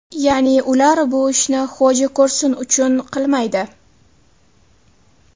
Ya’ni, ular bu ishni xo‘ja ko‘rsin uchun qilmaydi.